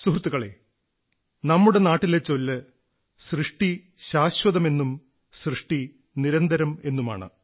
സുഹൃത്തുക്കളേ നമ്മുടെ നാട്ടിലെ ചൊല്ല് സൃഷ്ടി ശാശ്വതമെന്നും സൃഷ്ടി നിരന്തരമെന്നുമാണ്